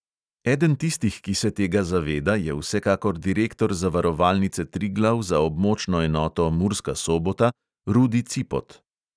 Eden tistih, ki se tega zaveda, je vsekakor direktor zavarovalnice triglav za območno enoto murska sobota rudi cipot.